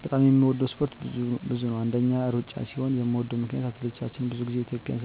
በጣም የምወደው እስፓርት ብዙ ነው አንደኛ እሩጫ ሲሆን ምወደው ምክነያት አትሌቶቻችን ብዙ ግዜ ኢትዩጵያን